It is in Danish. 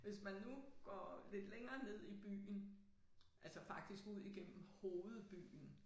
Hvis man nu går lidt længere ned i byen altså faktisk ud igennem hovedbyen